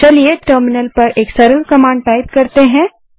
तो चलिए टर्मिनल पर एक सरल कमांड टाइप करते हैं